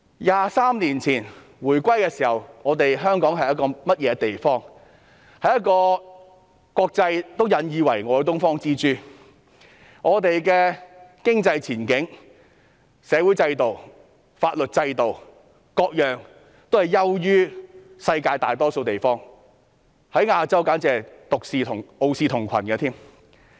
那時香港是一個國際間引以為傲的"東方之珠"，我們的經濟前景、社會制度、法律制度等各方面也優於世界大多數的地方，在亞洲簡直傲視同群。